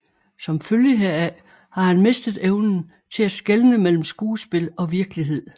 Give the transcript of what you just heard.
Som følge heraf har han mistet evnen til at skelne mellem skuespil og virkelighed